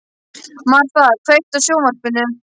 Martha, kveiktu á sjónvarpinu.